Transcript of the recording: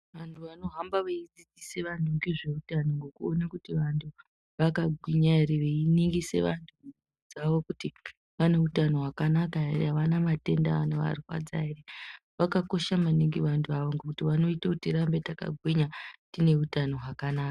Antu anohamba veidzidzise vantu ngezveutano ngokuona kuti vantu vakagwinya here veiningisa vantu mwiiri dzavo kuti vane utano hwakanaka here, havana matenda anovarwadza here. Vakakosha maningi vanhu ava ngokuti vanoite kuti tirambe takagwinya, tine utano hwakanaka.